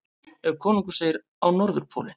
Ef konungur segir: Á Norðurpólinn!